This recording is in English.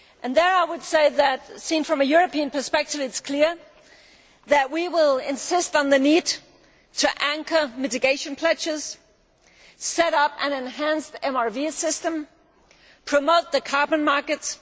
Here I would say that, seen from a European perspective, it is clear that we will insist on the need to anchor mitigation pledges, set up an enhanced MRV system and promote the carbon markets.